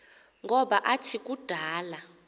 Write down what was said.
ngoba athi kudala